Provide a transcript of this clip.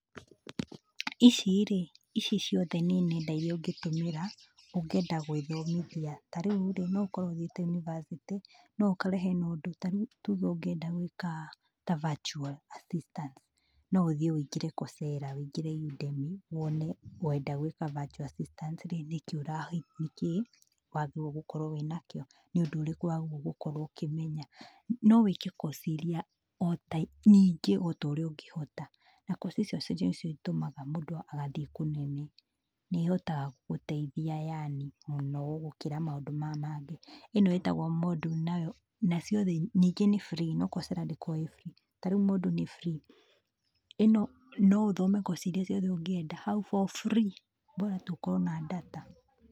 Ici rĩ, ici ciothe nĩ nenda iria ũngĩtũmira, ũngĩenda gwĩthomithia, ta rĩu rĩ, no ũkorwo ũthiĩte university, no ũkore hena ũndũ ta rĩu tuge ũngĩenda gwĩka ta virtual assistance, no ũthiĩ ũingĩre Coursera, ũingĩre Udemy wone ngwenda gĩka virtual assistance rĩ nĩkĩĩ ũra nĩkĩĩ wagĩrĩire gũkorwo wĩnakĩo, nĩ ũndũ ũrĩkũ wagĩrĩirwo gũkorwo ũkĩmenya. No wĩke course iria ota nyingĩ ota ũrĩa ũngĩhota, na course icio nocio itũmaga mũndũ agathiĩ kũnene, nĩ ihotaga gũteithia yani mũno gũkĩra maũndũ maya mangĩ ĩno ĩtagwo Moodle nayo na ciothe nyingĩ nĩ free no Coursera ndĩkoragwo ĩ free, ta rĩu Moodle nĩ free, ĩno no ũthome course iria ciothe ũngĩenda hau for free bora tu ũkorwo na data.